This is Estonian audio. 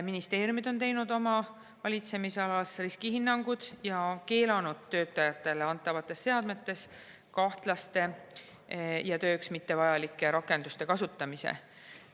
Ministeeriumid on teinud oma valitsemisalas riskihinnanguid ja keelanud töötajatele antavates seadmetes kahtlaste ja tööks mitte vajalike rakenduste kasutamise.